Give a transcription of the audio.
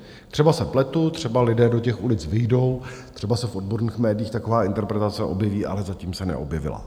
Třeba se pletu, třeba lidé do těch ulic vyjdou, třeba se v odborných médií taková interpretace objeví, ale zatím se neobjevila.